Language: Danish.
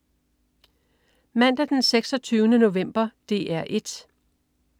Mandag den 26. november - DR 1: